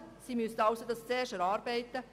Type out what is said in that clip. Sie müssten diesen zunächst erarbeiten.